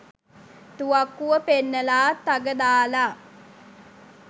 තුවක්කුව පෙන්නලා තග දාලා